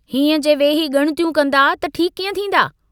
हीअं जे वेही गुणतियूं कन्दा त ठीक कीअं थींदा।